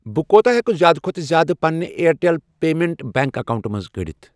بہٕ کوٗتاہ ہٮ۪کہٕ زِیٛادٕ کھۄتہٕ زِیٛادٕ پنِنہِ اِیَرٹیٚل پیمیٚنٛٹس بیٚنٛک اکاونٹہٕ منٛز کٔڑِتھ۔